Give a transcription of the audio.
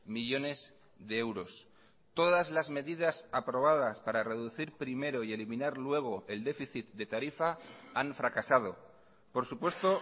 millónes de euros todas las medidas aprobadas para reducir primero y eliminar luego el déficit de tarifa han fracasado por supuesto